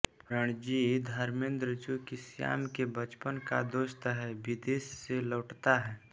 रणजीत धर्मेन्द्र जो कि श्याम के बचपन का दोस्त है विदेश से लौटता है